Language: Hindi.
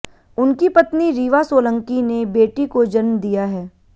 उनकी पत्नी रीवा सोलंकी ने बेटी को जन्म दिया है